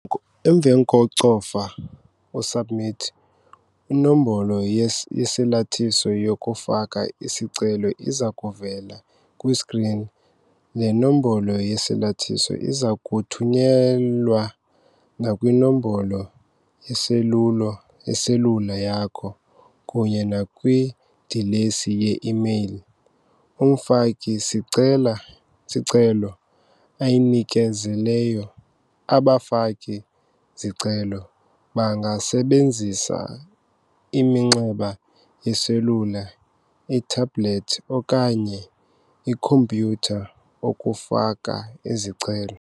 Emva kokucofa u-SUBMIT, inombolo yesalathiso yokufaka isicelo iza kuvela kwiskrini. Le nombolo yesalathiso iza kuthunyelwa nakwinombolo yeselula yakho kunye nakwidilesi ye-imeyili umfaki-sicelo ayinikezeleyo. Abafaki-zicelo bangasebenzisa iminxeba yeselula, itablethi okanye ikhompyutha ukufaka izicelo.